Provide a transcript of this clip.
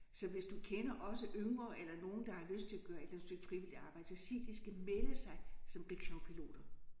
Så hvis du kender også yngre eller nogen der har lyst til at gøre et eller andet stykke frivilligt arbejde så sig de skal melde sig som rickshawpiloter